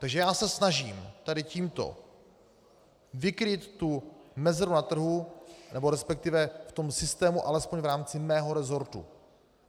Takže já se snažím tady tímto vykrýt tu mezeru na trhu, nebo respektive v tom systému alespoň v rámci svého resortu.